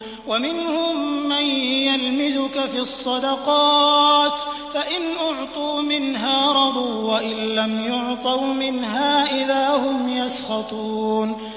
وَمِنْهُم مَّن يَلْمِزُكَ فِي الصَّدَقَاتِ فَإِنْ أُعْطُوا مِنْهَا رَضُوا وَإِن لَّمْ يُعْطَوْا مِنْهَا إِذَا هُمْ يَسْخَطُونَ